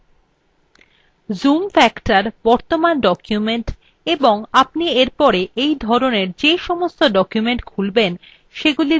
zoom factor বর্তমান document এবং আপনি এরপরে এই ধরনের the সমস্ত document খুলবেন সেগুলির zoom factor নির্দিষ্ট করে